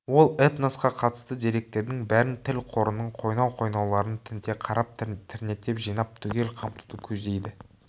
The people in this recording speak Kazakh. ол этносқа қатысты деректердің бәрін тіл қорының қойнау-қойнауларын тінте қарап тірнектеп жинап түгел қамтуды көздейді